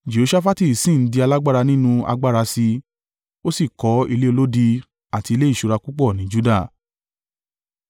Jehoṣafati sì ń di alágbára nínú agbára sí i, ó sì kọ́ ilé olódi àti ilé ìṣúra púpọ̀ ní Juda